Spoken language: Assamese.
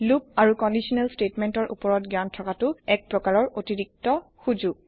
লুপ আৰু কন্দিচনেল স্তেতমেন্তৰ উপৰত জ্ঞান থকাতো এক প্ৰাকাৰৰ অতিৰিক্ত সোজোগ